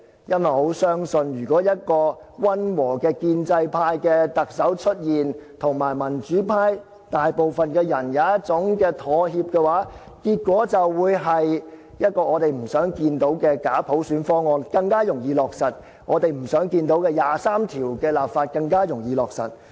因為我很相信，如果一個溫和的建制派特首出現，可以跟民主派大部分人妥協的話，結果就是，一個我們不想看到的假普選方案便更加容易落實，我們不想看到的二十三條立法便更加容易落實。